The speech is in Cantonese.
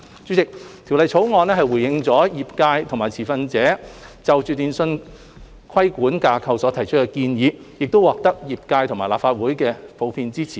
主席，《條例草案》回應了業界和持份者就電訊規管架構所提出的建議，亦獲業界和立法會普遍支持。